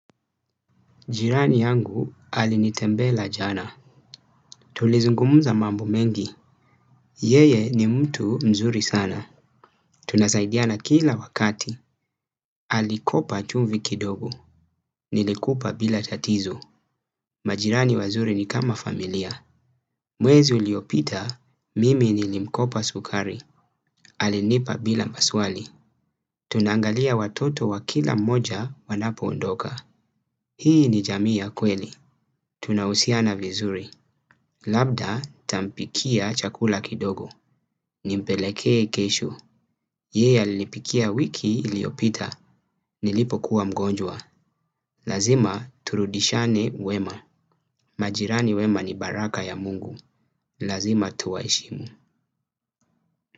Jirani yangu alinitembea jana. Tulizungumza mambo mengi. Yeye ni mtu mzuri sana. Tunasaidiana kila wakati. Alikopa chumvi kidogo. Nilikupa bila tatizu. Majirani wazuri ni kama familia. Mwezi uliopita, mimi nilimkopa sukari. Alinipa bila maswali. Tunaangalia watoto wa kila moja wanapo ondoka. Hii ni jamii ya kweli. Tunahusiana vizuri. Labda tampikia chakula kidogo. Nimpeleke kesho. Yeye alinipikia wiki iliopita. Nilipo kuwa mgonjwa. Lazima turudishane wema. Majirani wema ni baraka ya mungu. Lazima tuwaheshimu.